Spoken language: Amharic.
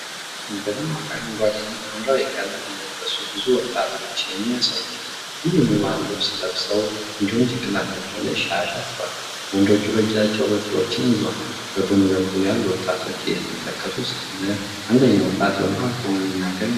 በደማቅ አረንጓዴና ሐምራዊ ቀለም የለበሱ ብዙ ወጣቶችን ያሳያል። ሁሉም የባህል ልብስ ለብሰዋል እንዲሁም ጭንቅላታቸው ላይ ሻሽ አስረዋል። ወንዶቹ በእጃቸው በትሮችን ይዘዋል። በጎን በኩል ያሉ ወጣቶች እየተመለከቱ ሳለ፣ አንደኛው ወጣት በመሃል ቆሞ የሚናገር ይመስላል።